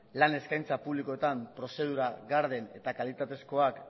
lan eskaintza publikoetan prozedura garden eta kalitatezkoak